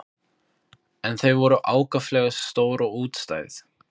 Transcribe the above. Elenborg, hvaða stoppistöð er næst mér?